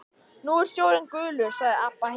Nú er sjórinn gulur, sagði Abba hin.